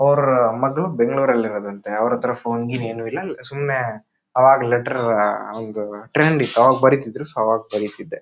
ಅವರ ಮಗಳು ಬೆಂಗಳೂರಲ್ಲಿ ಇರೋದಂತೆ ಅವರ ಹತ್ರ ಫೋನ್ ಗಿನ ಏನು ಇಲ್ಲಾ ಸುಮ್ಮನೆ ಆವಾಗ ಲೆಟರ್ ಟ್ರೆಂಡ್ ಇತ್ತು ಆವಾಗ ಬರೆತಿದ್ರು. ಸೊ ಆವಾಗ ಬರೀತಿದ್ದೆ.